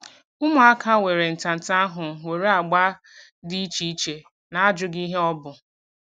Ụmụaka were ntanta ahụ nwere agba dị iche iche na ajụghị ihe ọ bụ